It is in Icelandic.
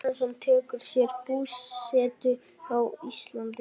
Ingólfur Arnarson tekur sér búsetu á Íslandi.